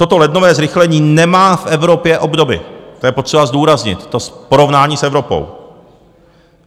Toto lednové zrychlení nemá v Evropě obdoby, to je potřeba zdůraznit, to porovnání s Evropou.